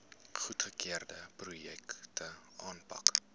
goedgekeurde projekte aanpak